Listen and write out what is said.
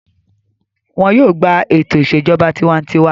Wọn yóò gbà ètò ìṣèjọba tiwantiwa.